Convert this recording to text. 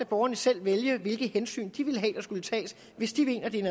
borgerne selv vælge hvilke hensyn de ville have der skulle tages hvis de mener det er